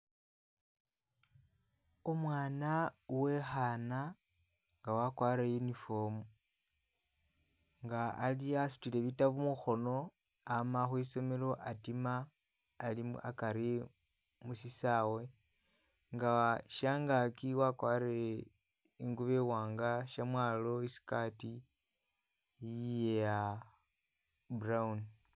Umwana uwe'khaana, nga wakwarire uniform nga ali asutile bitabu mukhono, ama khwisomelo atima alimu akari mu sisawe nga syangaaki wakwarire i'ngubo i'wanga, syamwalo i'skirt iya brown.